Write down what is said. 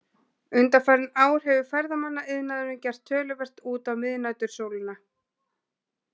Undanfarin ár hefur ferðamannaiðnaðurinn gert töluvert út á miðnætursólina.